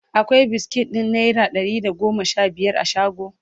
akwai biskit ɗin naira Dari da goma Sha biyar a shago?